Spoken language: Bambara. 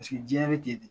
Paseke diɲɛ bɛ ten de